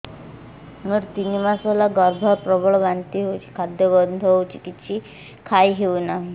ମୋର ତିନି ମାସ ହେଲା ଗର୍ଭ ପ୍ରବଳ ବାନ୍ତି ହଉଚି ଖାଦ୍ୟ ଗନ୍ଧ ହଉଚି କିଛି ଖାଇ ହଉନାହିଁ